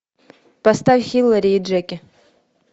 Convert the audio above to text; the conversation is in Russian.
поставь хилари и джеки